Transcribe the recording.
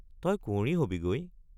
তই কুঁৱৰী হবি গৈ?